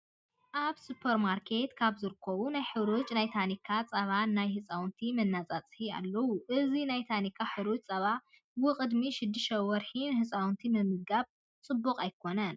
ኣብ ስፖርማርኬት ካብ ዝርከቡ ናይ ሕሩጭ ናይ ታኒካ ፀባን ናይ ህፃውንቲ መናፃፅሂ ኣለው። እዚ ናይ ታኒካ ሕሩጭ ፀባ ውቅድሚ 6ተ ወርሒ ንህፃውንቲ ምምጋብ ፅቡቅ ኣይኮን።